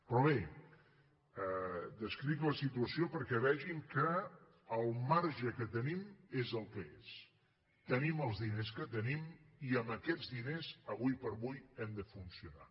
però bé descric la situació perquè vegin que el marge que tenim és el que és tenim els diners que tenim i amb aquests diners ara per ara hem de funcionar